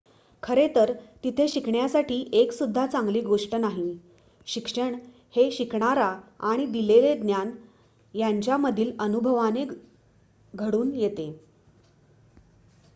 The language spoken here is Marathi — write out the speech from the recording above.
खरं तर तिथे शिकण्यासाठी एक सुद्धा चांगली गोष्ट नाही शिक्षण हे शिकणारा आणि दिलेले ज्ञान यांच्यामधील अनुभवाने घडून येते